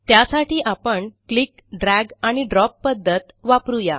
त्यासाठी आपण click drag आणि ड्रॉप पध्दत वापरू या